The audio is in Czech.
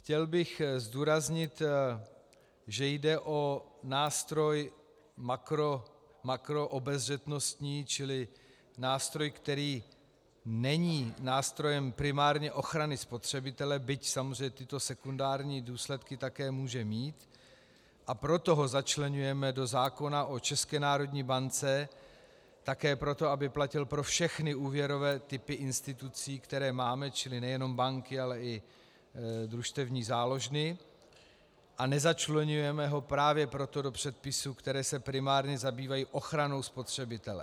Chtěl bych zdůraznit, že jde o nástroj makroobezřetnostní, čili nástroj, který není nástrojem primárně ochrany spotřebitele, byť samozřejmě tyto sekundární důsledky také může mít, a proto ho začleňujeme do zákona o České národní bance, také proto, aby platil pro všechny úvěrové typy institucí, které máme, čili nejenom banky, ale i družstevní záložny, a nezačleňujeme ho právě proto do předpisů, které se primárně zabývají ochranou spotřebitele.